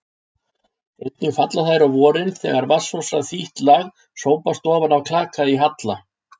Einnig falla þær á vorin þegar vatnsósa þítt lag sópast ofan af klaka í halla.